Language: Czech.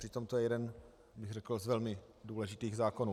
Přitom to je jeden, řekl bych, z velmi důležitých zákonů.